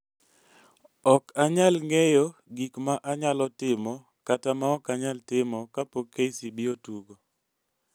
"Ok anyal ng'eyo gik ma anyalo timo kata maok anyal timo ka pok KCB otugo.